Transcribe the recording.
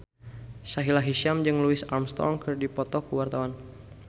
Sahila Hisyam jeung Louis Armstrong keur dipoto ku wartawan